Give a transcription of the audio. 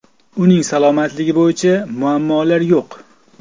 Uning salomatligi bo‘yicha muammolar yo‘q.